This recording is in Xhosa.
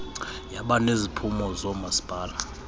yaba neziphumo zoomasipala